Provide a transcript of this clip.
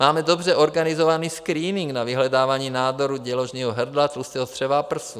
Máme dobře organizovaný screening na vyhledávání nádorů děložního hrdla, tlustého střeva a prsu.